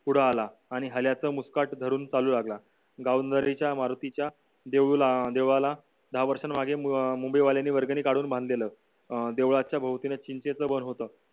पुढे आला आणि हल्याचा मुस्कान धरून चालू लागला जाऊन घरी च्या मारुतीच्या देवला देवाला दहा वर्षांमागे अं मुंबई वाल्यांनी वर्गणी काढून बांधलेला अं देवळाच्या भोवतीने चिंतेचा वर होत